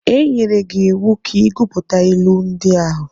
E nyere gị iwu ka ị gụpụta ilu ndị ahụ.